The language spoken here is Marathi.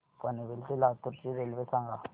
पनवेल ते लातूर ची रेल्वे सांगा